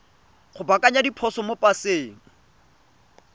go baakanya diphoso mo paseng